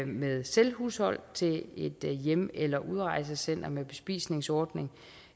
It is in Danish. med selvhushold til et hjem eller udrejsecenter med bespisningsordning